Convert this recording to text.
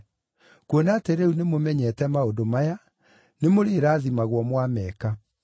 Kuona atĩ rĩu nĩmũmenyete maũndũ maya, nĩmũrĩrathimagwo mwameka.